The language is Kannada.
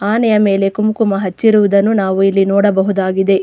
ಆನೆಯ ಮೇಲೆ ಕುಂಕುಮ ಹಚ್ಚಿರುವುದನ್ನು ನಾವು ಇಲ್ಲಿ ನೋಡಬಹುದಾಗಿದೆ.